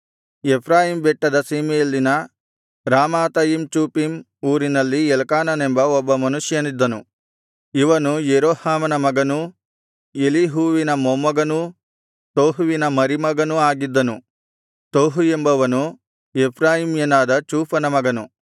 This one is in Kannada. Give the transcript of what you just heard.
ಎಫ್ರಾಯೀಮ್ ಬೆಟ್ಟದ ಸೀಮೆಯಲ್ಲಿನ ರಾಮಾತಯಿಮ್ ಚೋಫೀಮ್ ಊರಿನಲ್ಲಿ ಎಲ್ಕಾನನೆಂಬ ಒಬ್ಬ ಮನುಷ್ಯನಿದ್ದನು ಇವನು ಯೆರೋಹಾಮನ ಮಗನೂ ಎಲೀಹುವಿನ ಮೊಮ್ಮಗನೂ ತೋಹುವಿನ ಮರಿಮಗನೂ ಆಗಿದ್ದನು ತೋಹು ಎಂಬವನು ಎಫ್ರಾಯೀಮ್ಯನಾದ ಚೂಫನ ಮಗನು